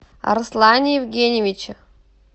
арслане евгеньевиче